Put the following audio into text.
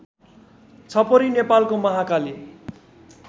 छपरी नेपालको महाकाली